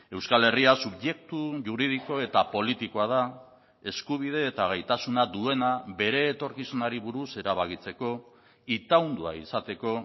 euskal herria subjektu juridiko eta politikoa da eskubide eta gaitasuna duena bere etorkizunari buruz erabakitzeko itaundua izateko